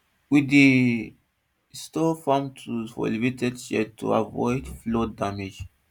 we dey dey store farm tools for elevated sheds to avoid flood damage